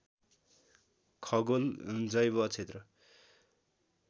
खगोल जैव क्षेत्र